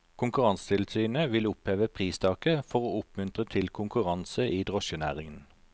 Konkurransetilsynet vil oppheve pristaket for å oppmuntre til konkurranse i drosjenæringen.